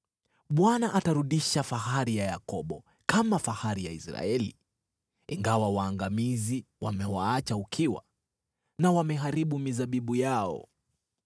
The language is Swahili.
Bwana atarudisha fahari ya Yakobo, kama fahari ya Israeli, ingawa waangamizi wamewaacha ukiwa na wameharibu mizabibu yao.